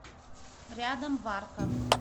рядом варка